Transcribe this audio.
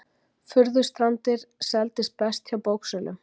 Furðustrandir seldist best hjá bóksölum